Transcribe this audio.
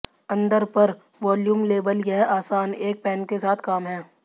अंदर पर volume label यह आसान एक पैन के साथ काम है